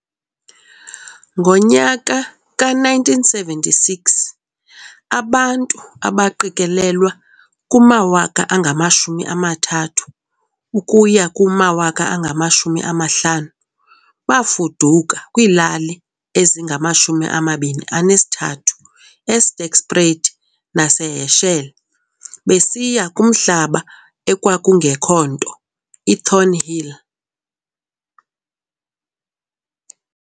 Ngonyaka ka 1976 abantu abaqikelelwa kuma 30000-50000 bafuduka kwiilali ezinga 23 eSterkspruit nase Herschel besiya kumhlaba ekwakungekho-nto iThornhill.